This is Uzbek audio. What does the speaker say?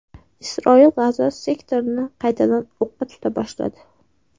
Isroil G‘azo sektorini qaytadan o‘qqa tuta boshladi.